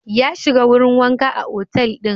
Ya shiga wurin wanka a otal ɗin.